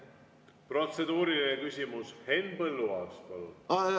Protseduuriline küsimus, Henn Põlluaas, palun!